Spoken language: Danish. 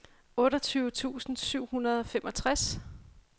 otteogtyve tusind syv hundrede og femogtres